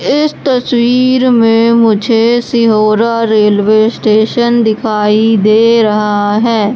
इस तस्वीर में मुझे सिहोरा रेलवे स्टेशन दिखाई दे रहा है।